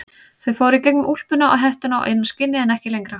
Þau fóru í gegnum úlpuna og hettuna og inn að skinni en ekki lengra.